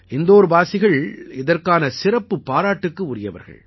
இந்தோர்வாசிகள் இதற்கான சிறப்புப் பாராட்டுக்கு உரியவர்கள்